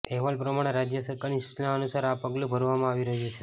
અહેવાલ પ્રમાણે રાજ્ય સરકારની સૂચના અનુસાર આ પગલું ભરવામાં આવી રહ્યું છે